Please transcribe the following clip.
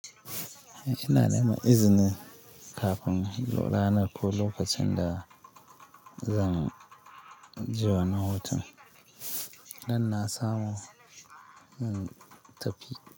Eh, shina neman izini kafin in la ranar ko lokacin da zan ji wa nan hoton. Dan na samu, mm, tafi.